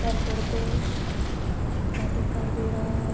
उत्तर प्रदेश का दिखाई दे रहा है।